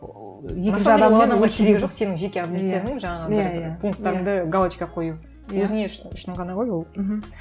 керегі жоқ сенің жеке пункттарыңды галочка қою өзіңе үшін ғана ғой ол мхм